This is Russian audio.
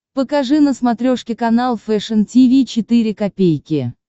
покажи на смотрешке канал фэшн ти ви четыре ка